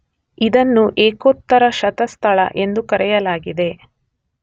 ಇದನ್ನು ಏಕೋತ್ತರಶತಸ್ಥಲ ಎಂದು ಕರೆಯಲಾಗಿದೆ.